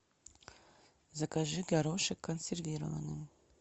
закажи горошек консервированный